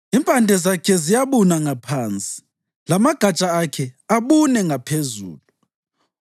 Impande zakhe ziyabuna ngaphansi lamagatsha akhe abune ngaphezulu.